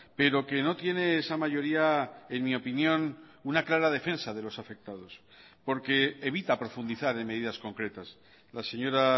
pero que no tiene esa mayoría en mi opinión una clara defensa de los afectados porque evita profundizar en medidas concretas la señora